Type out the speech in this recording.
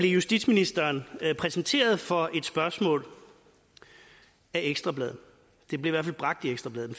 justitsministeren præsenteret for et spørgsmål af ekstra bladet det blev i hvert fald bragt i ekstra bladet